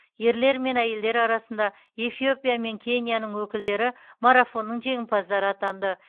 ерлер мен әйелдер арасында эфиопия мен кенияның өкілдері марафонның жеңімпаздары атанды